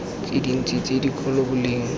tse dintsi tse dikgolo boleng